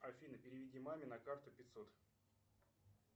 афина переведи маме на карту пятьсот